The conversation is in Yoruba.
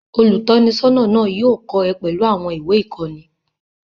Olùtọ́nisọ́nà náà yóò kọ́ ẹ pẹ̀lú àwọn ìwé-ìkọ́ni.